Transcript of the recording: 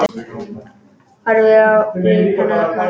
Horfi á líf hennar opnast.